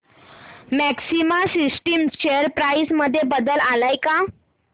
maxima Systems share price मध्ये बदल आलाय का